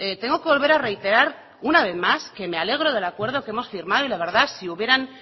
tengo que volver a reiterar una vez más que me alegro del acuerdo que hemos firmado y la verdad si hubieran